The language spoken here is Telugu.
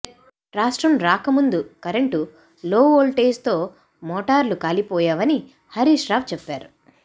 రాష్ట్రం రాక ముందు కరెంటు లోఓల్టేజ్ తో మోటార్లు కాలి పోయేవని హరీశ్ రావు చెప్పారు